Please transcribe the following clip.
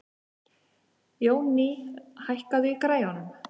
Jónný, hækkaðu í græjunum.